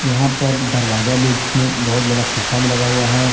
यहां पर दरवाजा भी जिसमें बहोत बड़ा शीशा भी लगा हुआ है।